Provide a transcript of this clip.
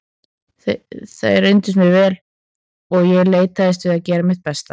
Þeir reyndust mér vel og ég leitaðist við að gera mitt besta.